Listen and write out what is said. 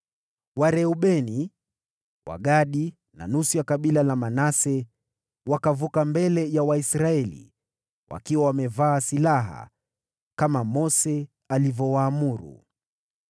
Wareubeni, Wagadi na nusu ya kabila la Manase wakavuka mbele ya Waisraeli, wakiwa wamevaa silaha, kama Mose alivyowaamuru.